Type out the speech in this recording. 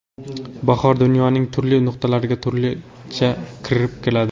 Bahor dunyoning turli nuqtalariga turlicha kirib keladi.